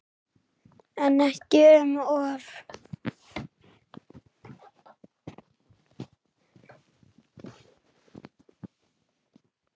En ekki um of.